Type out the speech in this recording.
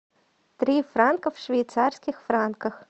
три франка в швейцарских франках